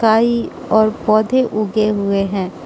पाहि और पौधे उगे हुए है।